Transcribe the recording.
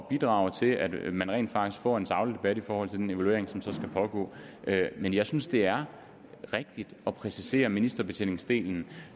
bidrage til at man rent faktisk får en saglig debat i forhold til den evaluering som skal pågå men jeg synes det er rigtigt at præcisere ministerbetjeningsdelen